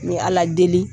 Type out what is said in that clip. N bɛ ala deli